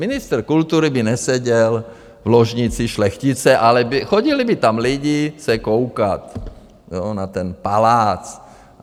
Ministr kultury by neseděl v ložnici šlechtice, ale chodili by tam lidé se koukat na ten palác.